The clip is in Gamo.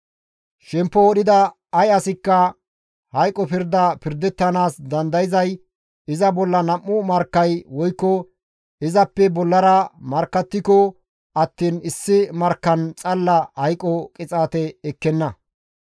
« ‹Shempo wodhida ay asikka hayqo pirda pirdettanaas dandayzay iza bolla nam7u markkay woykko izappe bollara markkattiko attiin issi markkan xalla hayqo qixaate ekkenna.